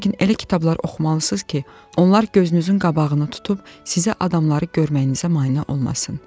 Lakin elə kitablar oxumalısınız ki, onlar gözünüzün qabağını tutub sizə adamları görməyinizə mane olmasın.